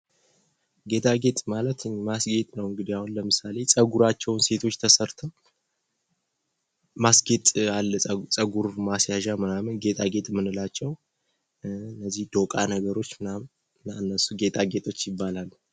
ጌጣጌጥ ማለት እንግዲ ማስጌጥ ነው አሁን ለምሳሌ ፀጉራቸውን ሴቶች ተሰርተው ማስጌጥ ምናምን ጌጣጌጥ ምንላቸው እነዚህ ዶቃ ነገሮች ምናምን እነሱ ጌታጌጦች ይባላሉ ቂ።